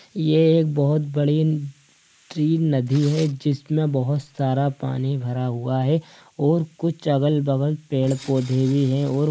ये एक बहुत बड़ी त्रीम नदी है। जिसमें बहुत सारा पानी भरा हुआ है और कुछ अगल-बगल पेड़-पौधे भी हैं और --